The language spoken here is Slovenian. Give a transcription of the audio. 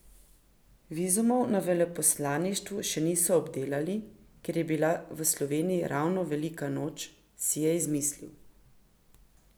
Vizumov na veleposlaništvu še niso obdelali, ker je bila v Sloveniji ravno velika noč, si je izmislil.